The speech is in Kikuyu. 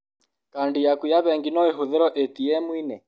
Kandi yaku ya bengi no ĩhũthĩrwo ĩtiemu-inĩ.